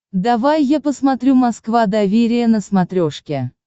давай я посмотрю москва доверие на смотрешке